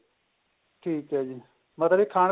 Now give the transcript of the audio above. ਠੀਕ ਏ ਜੀ ਮਤਲਬ ਕੀ ਖਾਣ